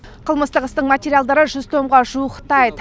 қылмыстық істің материалдары жүз томға жуықтайды